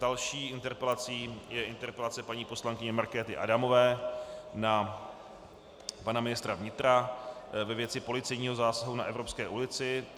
Další interpelací je interpelace paní poslankyně Markéty Adamové na pana ministra vnitra ve věci policejního zásahu na Evropské ulici.